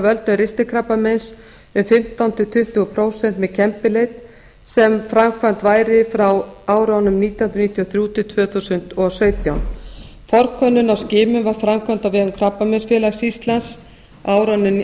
völdum ristilkrabbameins um fimmtán til tuttugu prósent með kembileit sem framkvæmd væri frá árunum nítján hundruð níutíu og þrjú til tvö þúsund og sautján forkönnun á skimun var framkvæmd á vegum krabbameinsfélags íslands á árunum nítján hundruð